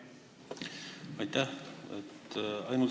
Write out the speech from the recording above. Aitäh!